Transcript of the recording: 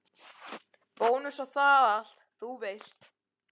Bónus og það allt, þú veist.